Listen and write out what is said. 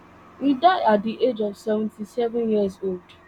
e die at di age of seventy-sevenyearsold